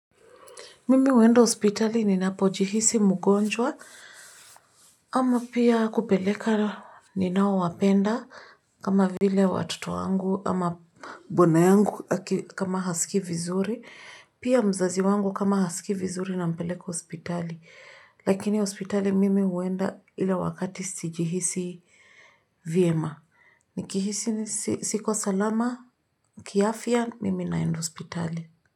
Mimi huenda hospitali ninapojihisi mgonjwa ama pia kupeleka ninao wapenda kama vile watoto wangu ama bwana yangu aki kama hasikii vizuri. Pia mzazi wangu kama hasikii vizuri nampeleka ospitali lakini hospitali mimi huenda ila wakati sijihisi vyema. Nikihisi siko salama, kiafya, mimi naenda hospitali.